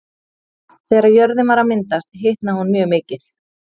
Þegar jörðin var að myndast hitnaði hún mjög mikið.